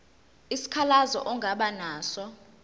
isikhalazo ongaba naso